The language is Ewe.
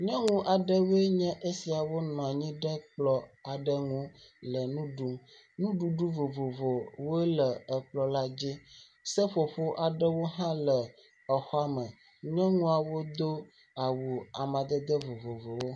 Nyɔnu aɖewoe nye esia nɔ anyi ɖe kplɔ̃ aɖe ŋu le nu ɖum. Nuɖuɖu vovovowoe le kplɔ̃ la dzi. Seƒoƒo hã le xɔa me. Nyɔnuawo do awu amadede vovovowo.